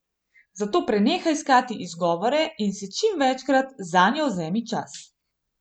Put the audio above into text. Zato prenehaj iskati izgovore in si čim večkrat zanjo vzemi čas.